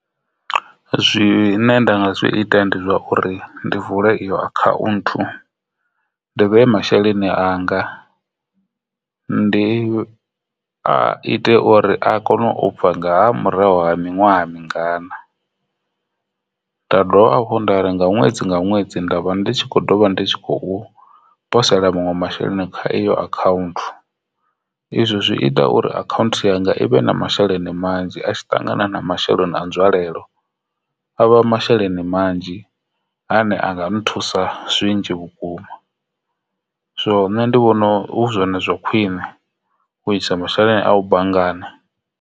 Zwine nda nga zwi ita ndi zwa uri ndi vula iyo a khaunthu dovhe masheleni anga ndi ite uri a kone ubva nga murahu ha miṅwaha mingana nda dovha hafhu nda ri nga ṅwedzi nga ṅwedzi ndavha ndi kho ḓovha ndi tshi khou posela muṅwe masheleni kha account izwo zwi ita uri account yanga i vhe na masheleni manzhi a tshi ṱangana na masheleni a nzwalelo avha masheleni manzhi ane anga nthusa zwinzhi vhukuma. So nṋe ndi vhona hu zwone zwa khwine u isa masheleni a u banngani.